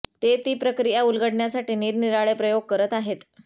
ते ती प्रक्रिया उलगडण्यासाठी निरनिराळे प्रयोग करत आहेत